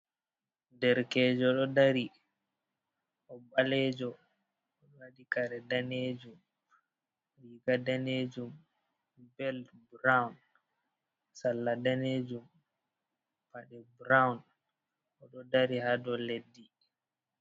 Derekejo ɗo dari, o ɓaleejo, o waɗi kare daneejum, riiga daneejum, bel burawun, salla daneejum, paɗe burawun, o ɗo dari haa dow leddi.